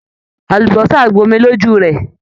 Àlùbọ́sà gbomi lójú rẹ ẹ.